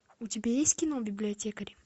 у тебя есть кино библиотекарь